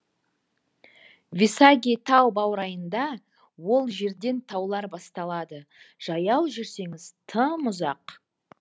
висаги тау баурайында ол жерден таулар басталады жаяу жүрсеңіз тым ұзақ